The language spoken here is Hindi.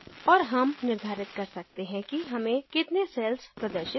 और हम निर्धारित कर सकते हैं कि हमें कितने cells प्रदर्शित करनी है